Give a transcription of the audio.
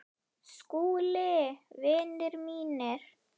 SKÚLI: Vinir mínir!